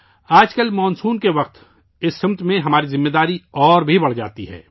آج کل monsoon کے موسم میں اس سمت میں ہماری ذمہ داری اور بھی بڑھ جاتی ہے